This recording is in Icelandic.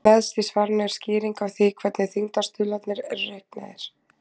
Neðst í svarinu er skýring á því hvernig þyngdarstuðlarnir eru reiknaðir.